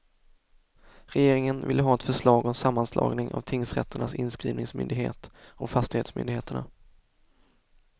Regeringen ville ha ett förslag om sammanslagning av tingsrätternas inskrivningsmyndighet och fastighetsmyndigheterna.